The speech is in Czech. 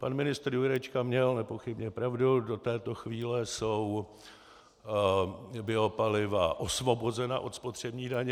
Pan ministr Jurečka měl nepochybně pravdu, do této chvíle jsou biopaliva osvobozena od spotřební daně.